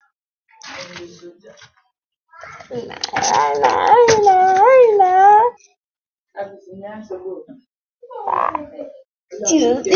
Ndị ahụ bịara ebe a ha bụcha ndị amị?